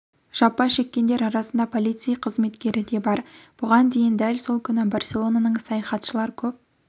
жапа шеккендер арасында полицей қызметкері де бар бұған дейін дәл сол күні барселонаның саяхатшылар көп